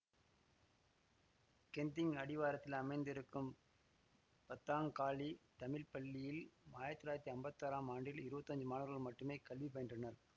Genting அடிவாரத்தில் அமைந்து இருக்கும் பத்தாங்காலி தமிழ்ப்பள்ளியில் ஆயிரத்தி தொள்ளாயிரத்தி அம்பத்தி ஆறாம் ஆண்டில் இருவத்தஞ்சு மாணவர்கள் மட்டுமே கல்வி பயின்றனர்